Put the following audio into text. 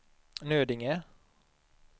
Nödinge